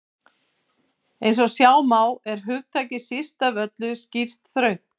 Eins og sjá má er hugtakið síst af öllu skýrt þröngt.